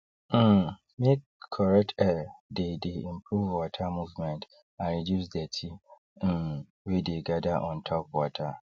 um make correct air theythey improve water movement and reduce dirty um wey dey gather on top water